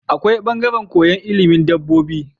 Akwai bangaran koyan ilimin dabobi